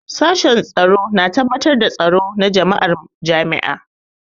Sashen Tsaro na tabbatar da tsaro da tsaro na jama'ar jami'a.